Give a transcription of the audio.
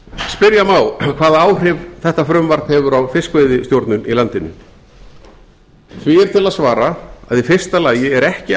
spyrja má hvaða áhrif þetta frumvarp hefur á fiskveiðistjórnun í landinu því er til að svara að í fyrsta lagi er ekki